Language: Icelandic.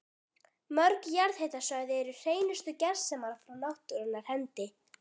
Mörg jarðhitasvæði eru hreinustu gersemar frá náttúrunnar hendi.